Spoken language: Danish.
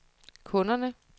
kunderne